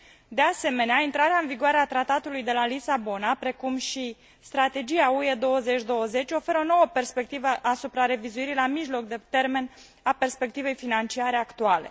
De asemenea, intrarea în vigoare a Tratatului de la Lisabona, precum și Strategia UE 2020, oferă o nouă perspectivă asupra revizuirii la mijloc de termen a perspectivei financiare actuale.